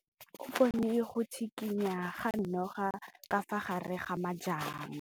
O bone go tshikinya ga noga ka fa gare ga majang.